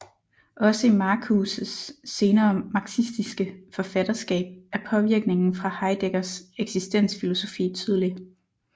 Også i Marcuses senere marxistiske forfatterskab er påvirkningen fra Heideggers eksistensfilosofi tydelig